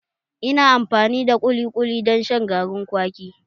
Ina amfani da kuli kuli don shan garin kwaki